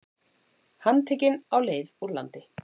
Handtekinn á leið úr landi